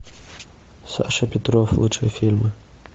саша петров лучшие фильмы